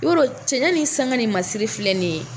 I b'a dɔn cɛɲɛ ni sanga ni masiri filɛ ni ye